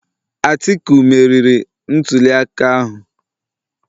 Atiku meriri ntuliaka ahụ